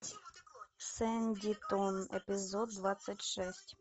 сэндитон эпизод двадцать шесть